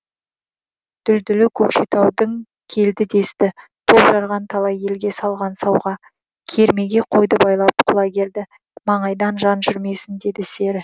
дүлдүлі көкшетаудың келді десті топ жарған талай елге салған сауға кермеге қойды байлап құлагерді маңайдан жан жүрмесін деді сері